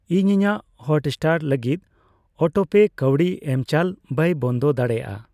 ᱤᱧ ᱤᱧᱟᱹᱝ ᱦᱚᱴᱥᱴᱟᱨ ᱞᱟᱹᱜᱤᱫ ᱚᱴᱳᱯᱮ ᱠᱟᱹᱣᱰᱤ ᱮᱢᱪᱟᱞ ᱵᱟᱭ ᱵᱚᱱᱫᱚ ᱫᱟᱲᱮᱭᱟᱜᱼᱟ ᱾